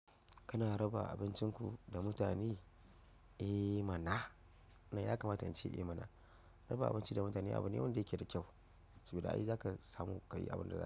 Kana raba abincinku da mutane? Eh mana! Na ya kamata in ce eh mana? Raba abinci da mutane abu ne wanda yake da kyau. Saboda ai zaka samu ka yi abin da.